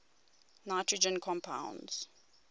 nitrogen compounds